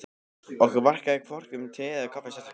Okkur varðaði hvorki um te eða kaffi sérstaklega.